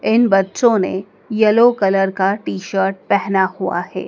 इन बच्चों ने yellow colour का टी-शर्ट पहना हुआ है।